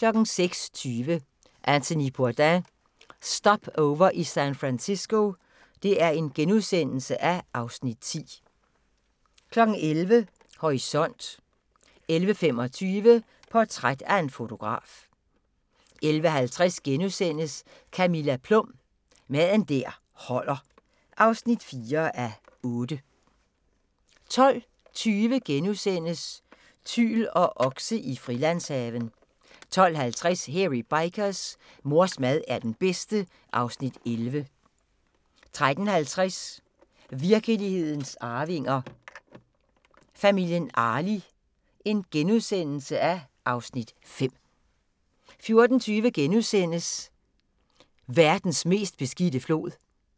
06:20: Anthony Bourdain – Stopover i San Francisco (Afs. 10)* 11:00: Horisont 11:25: Portræt af en fotograf 11:50: Camilla Plum – Mad der holder (4:8)* 12:20: Tyl og okse i Frilandshaven * 12:50: Hairy Bikers: Mors mad er den bedste (Afs. 11) 13:50: Virkelighedens Arvinger: Familien Arli (Afs. 5)* 14:20: Verdens mest beskidte flod